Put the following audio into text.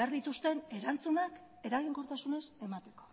behar dituzten erantzunak eraginkortasunez emateko